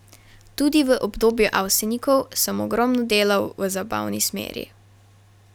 Tudi v obdobju Avsenikov sem ogromno delal v zabavni smeri.